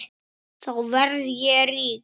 Þá verð ég rík.